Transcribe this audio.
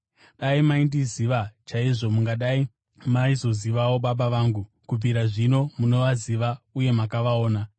Dai maindiziva chaizvo mungadai maizozivawo Baba vangu. Kubvira zvino, munovaziva uye makavaona.”